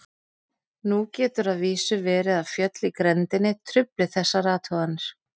Nú getur að vísu verið að fjöll í grenndinni trufli þessar athuganir.